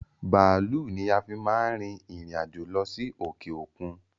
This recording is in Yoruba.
Bàálú ni a fi máa ń rìn ìrìn-àjò lọ sí òkè okun